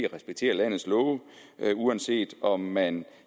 respektere landets love uanset om man